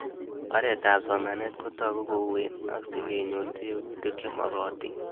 Oret ab somanet kotag'u kouen ak si kenyor tebutik che mag'atin